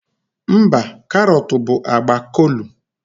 Mba, karọt bụ agba kolu